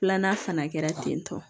Filanan fana kɛra ten tɔ